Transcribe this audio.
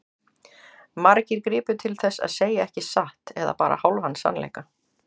Margir gripu til þess að segja ekki satt eða bara hálfan sannleika.